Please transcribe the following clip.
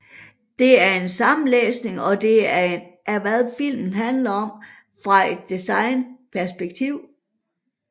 Det er en sammenlægning og det er hvad denne film handler om fra et design perspektiv